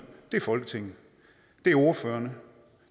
er folketinget det er ordførerne